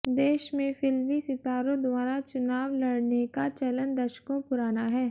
देश में फिल्मी सितारों द्वारा चुनाव लड़ने का चलन दशकों पुराना है